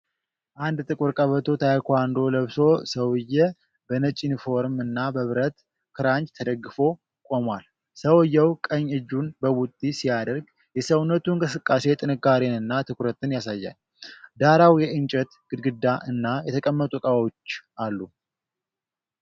አንድ ጥቁር ቀበቶ ታይኳንዶ ለብሶ ሰውዬ፣ በነጭ ዩኒፎርም እና በብረት ክራንች ተደግፎ ቆሟል። ሰውየው ቀኝ እጁን በቡጢ ሲያደርግ፣ የሰውነቱ እንቅስቃሴ ጥንካሬንና ትኩረትን ያሳያል። ዳራው የእንጨት ግድግዳ እና የተቀመጡ ዕቃዎች አሉ።